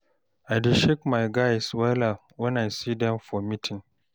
I dey shake my guys wella wen I see dem for meeting.